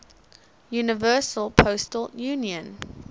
universal postal union